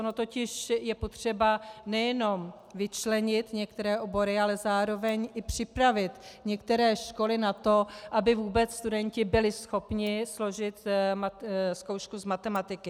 Ono totiž je potřeba nejenom vyčlenit některé obory, ale zároveň i připravit některé školy na to, aby vůbec studenti byli schopni složit zkoušku z matematiky.